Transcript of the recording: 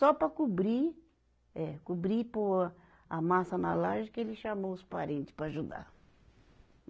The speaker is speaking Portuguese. Só para cobrir, eh cobrir e pôr a massa na laje que ele chamou os parente para ajudar.